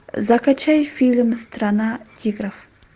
закачай фильм страна тигров